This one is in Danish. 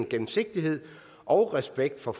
gennemsigtighed og respekt for